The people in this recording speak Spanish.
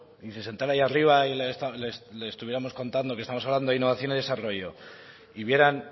y se sentara ahí arriba y le estuviéramos contando que estamos hablando de innovación y desarrollo y vieran